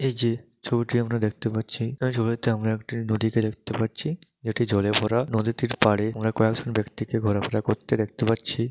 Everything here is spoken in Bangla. এই যে ছবিটি আমরা দেখতে পাচ্ছি এই ছবিতে আমরা একটি নদীকে দেখতে পারছিএটি জলে ভরা নদীটির পাড়ে আমরা কয়েকজন ব্যাক্তিকে ঘোরাফেরা করতে দেখতে পাচ্ছি।